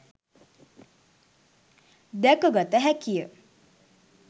දැක ගත හැකි ය.